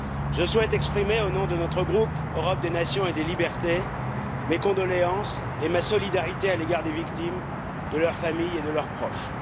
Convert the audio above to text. Je souhaite exprimer au nom de notre groupe Europe des nations et des libertés, mes condoléances et ma solidarité à l'égard des victimes, de leurs familles et de leurs proches.